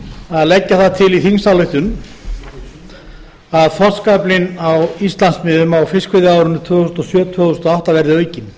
að leggja það til í þingsálytkun að þorskaflinn á íslandsmiðum á fiskveiðiárinu tvö þúsund og sjö til tvö þúsund og átta verði aukinn